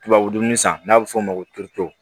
Tubabu dumun san n'a bɛ f'o ma ko